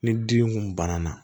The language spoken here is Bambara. Ni dimi kun banna